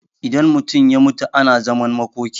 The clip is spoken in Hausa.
idan mutum ya mutu ana zaman makoki